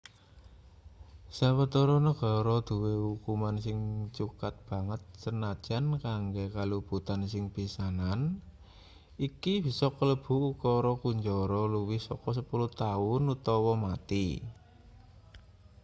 sawetara negara duwe ukuman sing cukat banget sanajan kanggo kaluputan sing pisanan iki bisa kalebu ukara kunjara luwih saka 10 taun utawa mati